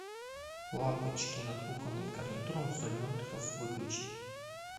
лампочки над кухонным гарнитуром в зоне отдыха выключить